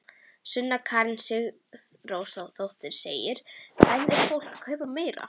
Sunna Karen Sigurþórsdóttir: En er fólk að kaupa meira?